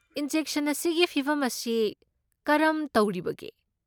Injection ꯑꯁꯤꯒꯤ ꯐꯤꯚꯝ ꯑꯁꯤ ꯀꯔꯝ ꯇꯧꯔꯤꯕꯒꯦ?